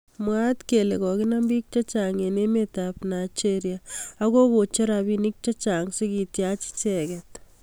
Mwaat kele kakinam bik chechang eng emet ab Nigeria ak kakocher rabinik chechang sikityach icheket.